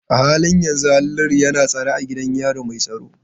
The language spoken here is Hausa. A halin yanzu Haliru yana tsare a gidan yari mai tsaro.